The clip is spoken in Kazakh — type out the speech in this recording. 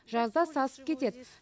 жазда сасып кетед